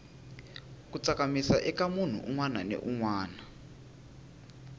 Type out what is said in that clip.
ku tsakamisa ika munhu unwana ni unwana